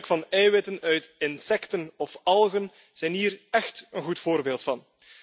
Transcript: Het gebruik van eiwitten uit insecten of algen zijn hier echt een goed voorbeeld van.